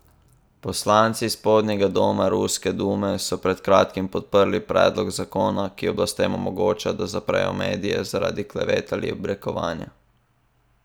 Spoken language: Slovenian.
Poslanci spodnjega doma ruske dume so pred kratkim podprli predlog zakona, ki oblastem omogoča, da zaprejo medije zaradi klevet ali obrekovanja.